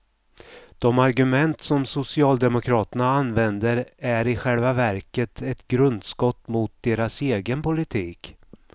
De argument som socialdemokraterna använder är i själva verket ett grundskott mot deras egen politik.